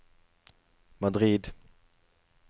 Madrid